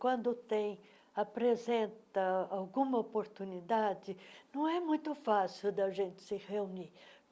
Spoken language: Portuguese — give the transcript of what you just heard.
Quando tem, apresenta alguma oportunidade, não é muito fácil da gente se reunir.